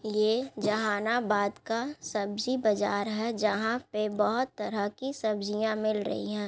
ये जहानाबाद का सब्जी बाजार है । जहाँ पे बहुत तरह की सब्जियाँ मिल रही है ।